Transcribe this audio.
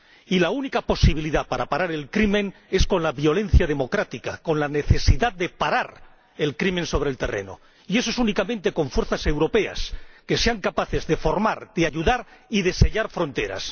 Y la única posibilidad de parar el crimen es con la violencia democrática, con la necesidad de parar el crimen sobre el terreno. Y eso es únicamente posible con fuerzas europeas que sean capaces de formar, de ayudar y de sellar fronteras.